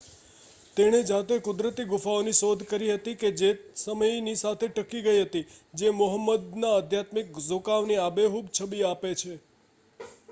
તેણે જાતે કુદરતી ગુફાઓની શોધ કરી હતી કે જે સમય સાથે ટકી ગઈ હતી જે મોહમ્મદના આધ્યાત્મિક ઝુકાવની આબેહૂબ છબી આપે છે